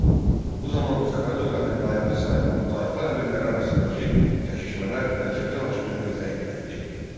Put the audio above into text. Bu zaman Səfəvi dövlətinin dayağı sayılan tayfa əmirləri arasındakı çəkişmələr mərkəzi hakimiyyəti zəiflətdi.